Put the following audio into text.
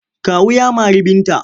Kawu ya mari Binta.